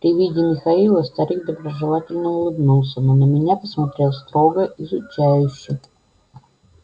при виде михаила старик доброжелательно улыбнулся но на меня посмотрел строго изучающе